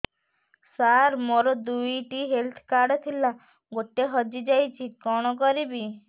ସାର ମୋର ଦୁଇ ଟି ହେଲ୍ଥ କାର୍ଡ ଥିଲା ଗୋଟେ ହଜିଯାଇଛି କଣ କରିବି